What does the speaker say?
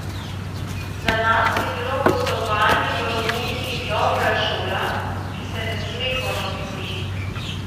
Za nas je bilo gostovanje v Romuniji dobra šola, ki se ne sme ponoviti.